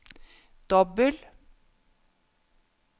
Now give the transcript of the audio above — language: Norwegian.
dobbel